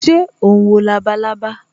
Ṣé o ń wo labalábá